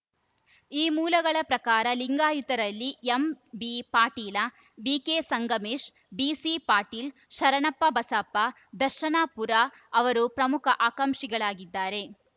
ಈ ಮೂಲಗಳ ಪ್ರಕಾರ ಲಿಂಗಾಯತರಲ್ಲಿ ಎಂಬಿಪಾಟೀಲ ಬಿಕೆ ಸಂಗಮೇಶ್‌ ಬಿಸಿ ಪಾಟೀಲ್‌ ಶರಣಪ್ಪ ಬಸಪ್ಪ ದರ್ಶನಾಪುರ ಅವರು ಪ್ರಮುಖ ಆಕಾಂಕ್ಷಿಗಳಾಗಿದ್ದಾರೆ